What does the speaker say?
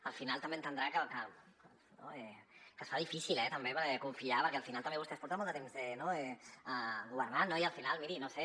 al final també entendrà que es fa difícil eh confiar perquè al final també vostès porten molt de temps governant i miri no ho sé